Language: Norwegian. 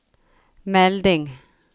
melding